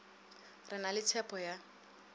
re na le tshepho ya